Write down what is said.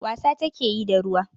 Wasa take yi da ruwa.